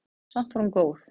Samt var hún góð.